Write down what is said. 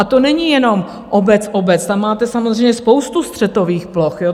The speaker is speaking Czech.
A to není jenom obec-obec, tam máte samozřejmě spoustu střetových ploch.